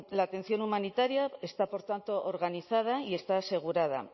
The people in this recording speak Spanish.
la atención humanitaria está por tanto organizada y está asegurada